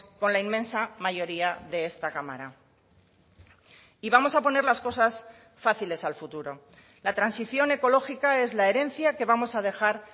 con la inmensa mayoría de esta cámara y vamos a poner las cosas fáciles al futuro la transición ecológica es la herencia que vamos a dejar